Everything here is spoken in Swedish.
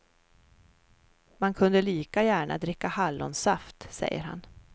Man kunde lika gärna dricka hallonsaft, säger han.